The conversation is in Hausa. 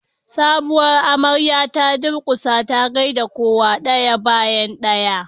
sabuwar amarya ta durkusa ta gaida kowa daya bayan daya